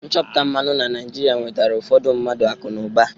Nchọpụta mmanụ na Naịjirịa wetara ụfọdụ mmadụ akụ na ụba.